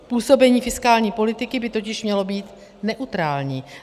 Působení fiskální politiky by totiž mělo být neutrální.